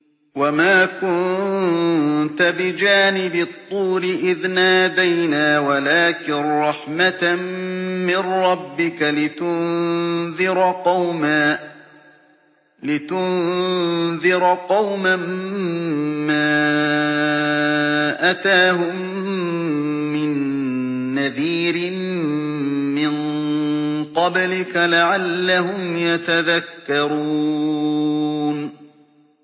وَمَا كُنتَ بِجَانِبِ الطُّورِ إِذْ نَادَيْنَا وَلَٰكِن رَّحْمَةً مِّن رَّبِّكَ لِتُنذِرَ قَوْمًا مَّا أَتَاهُم مِّن نَّذِيرٍ مِّن قَبْلِكَ لَعَلَّهُمْ يَتَذَكَّرُونَ